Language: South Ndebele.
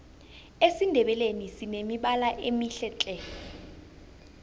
esindebeleni sinemibala emihle khulu